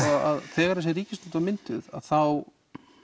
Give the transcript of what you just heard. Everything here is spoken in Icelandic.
þegar þessi ríkisstjórn var mynduð þá